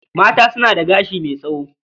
Mata suna da gashi mai tsawo.